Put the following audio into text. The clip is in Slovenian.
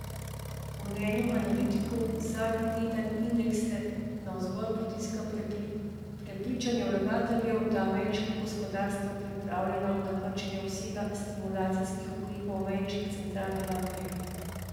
Po mnenju analitikov zadnji teden indekse navzgor potiska prepričanje vlagateljev, da je ameriško gospodarstvo pripravljeno na krčenje obsega stimulacijskih ukrepov ameriške centralne banke.